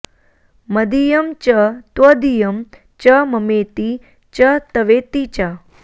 मदीयं च त्वदीयं च ममेति च तवेति च